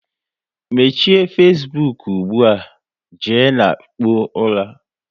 Mechie Fesbuk ugbua, jee na kpụọ ula!